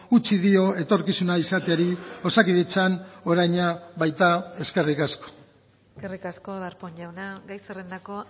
utzi dio etorkizuna izateari osakidetzan oraina baita eskerrik asko eskerrik asko darpón jauna gai zerrendako